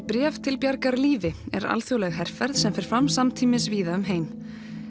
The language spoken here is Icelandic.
bréf til bjargar lífi er alþjóðleg herferð sem fer fram samtímis víða um heim